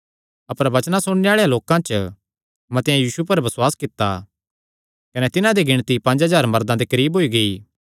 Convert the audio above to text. अपर वचनां सुणने आल़ेआं लोकां च मतेआं यीशु पर बसुआस कित्ता कने तिन्हां दी गिणती पंज हज़ार मर्दां दे करीब होई गेई